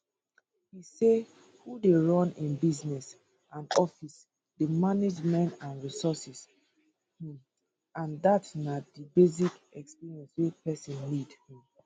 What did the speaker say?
e say who dey run im business and office dey manage men and resources um and dat na di basic experience wey pesin need um